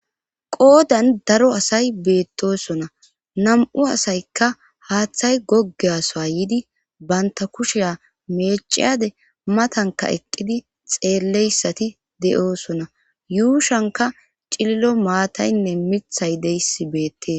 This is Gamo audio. qoodan daro asay beettosona nam7u asaykka haaththay goggeasoa yiidi banta kushiya meeciyade matanka eqqidi xeelleyssati de7oosona yuushanka cililo maataynne mithay deyssi beettees